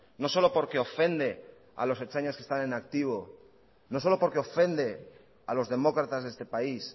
no solo porque ofende a los ertzainas que están en activo no solo porque ofende a los demócratas de este país